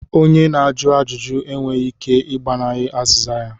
Onye na-ajụ ajụjụ e nweghị ike ị gbanahie azịza ya.